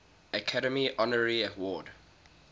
academy honorary award